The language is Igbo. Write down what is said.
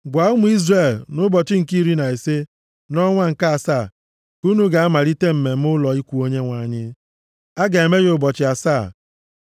“Gwa ụmụ Izrel, ‘Nʼụbọchị nke iri na ise, nʼọnwa nke asaa, ka unu ga-amalite mmemme Ụlọ Ikwu Onyenwe anyị. A ga-eme ya ụbọchị asaa.